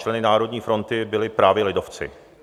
Členy Národní fronty byli právě lidovci.